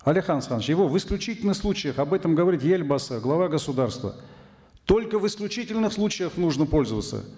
алихан асханович его в исключительных случаях об этом говорит елбасы глава государства только в исключительных случаях нужно пользоваться